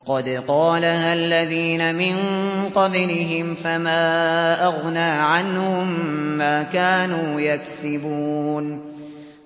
قَدْ قَالَهَا الَّذِينَ مِن قَبْلِهِمْ فَمَا أَغْنَىٰ عَنْهُم مَّا كَانُوا يَكْسِبُونَ